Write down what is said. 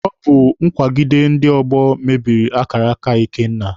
Ọ bụ nkwagide ndị ọgbọ mebiri akara aka Ikenna.